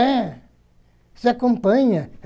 É. Isso acompanha.